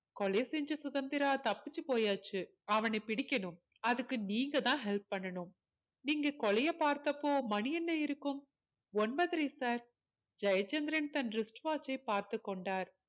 கொலை செஞ்ச சுதந்திரா தப்பிச்சு போயாச்சு அவனை பிடிக்கணும் அதுக்கு நீங்க தான் help பண்ணணும் நீங்க கொலைய பார்த்தப்போ மணி என்ன இருக்கும் ஒன்பதரை sir ஜெயச்சந்திரன் தனது wrist watch சை பார்த்துகொண்டார்